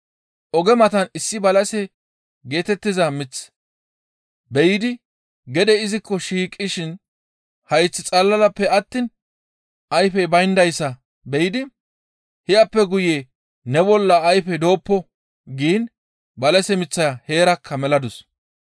Oge matan issi balase geetettiza mith be7idi gede izikko shiiqishin hayth xalalappe attiin ayfey bayndayssa be7idi, «Hiyappe guye ne bolla ayfey dooppo!» giin balase miththaya heerakka meladus.